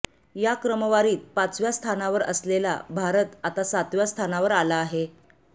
या क्रमवारीत पाचव्या स्थानावर असलेला भारत आता सातव्या स्थानावर आला आहे